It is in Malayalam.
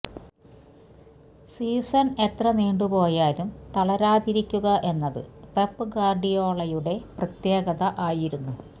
സീസൺ എത്ര നീണ്ട് പോയാലും തളരാതിരിക്കുക എന്നത് പെപ് ഗ്വാർഡിയോളയുടെ പ്രത്യേകത ആയിരുന്നു